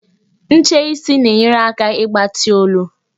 Ncheisi na-enyere aka ịgbati olu.